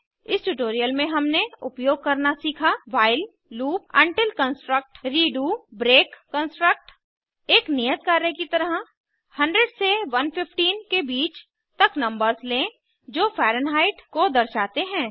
इस ट्यूटोरियल में हमने उपयोग करना सीखा while loop until construct redo break construct एक नियत कार्य की तरह 100 से 115 के बीच तक नंबर्स लें जो फैरन्हाइट को दर्शाते हैं